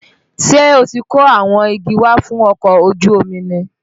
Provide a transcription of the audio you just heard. Ṣé o ti kó àwọn igi wá fún ọkọ̀ ojú omi ni?